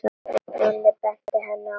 Nonni benti henni á hana.